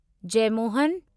Jeyamohan